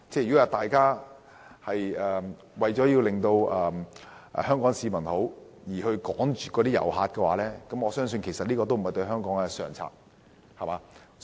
如果大家為了令香港市民感覺良好而驅趕旅客，我相信對香港來說，這也並非上策。